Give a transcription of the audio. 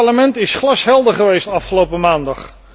Dit Parlement is glashelder geweest afgelopen maandag.